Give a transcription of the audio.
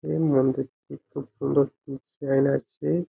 এর মন্দির টিতে খুব সুন্দর ডিসাইন আছে।